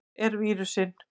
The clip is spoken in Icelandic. Hvar er vírusinn?